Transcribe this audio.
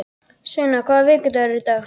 Sveina, hvaða vikudagur er í dag?